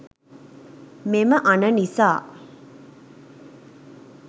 මෙම අණ නිසා